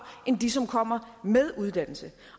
end de som kommer med uddannelse